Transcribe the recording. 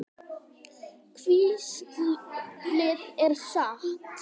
Hvíslið er satt.